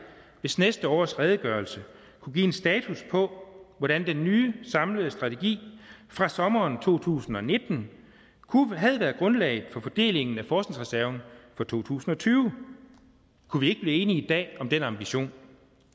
hvis næste års redegørelse kunne give en status på hvordan den nye samlede strategi fra sommeren to tusind og nitten havde været grundlag for fordelingen af forskningsreserven for to tusind og tyve kunne vi blive enige i dag om den ambition